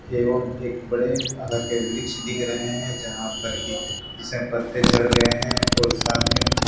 एवं एक बड़े के वृक्ष दिख रहे हैं यहां पर ई इसमें पत्ते झड़ गए हैं और साथ में--